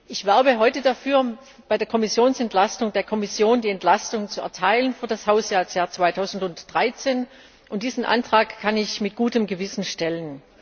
Ich werbe heute dafür, bei der Kommissionsentlastung der Kommission die Entlastung zu erteilen für das Haushaltsjahr 2013. Diesen Antrag kann ich mit gutem Gewissen stellen.